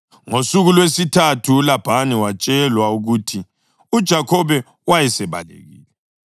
Ngosuku lwesithathu uLabhani watshelwa ukuthi uJakhobe wayesebalekile.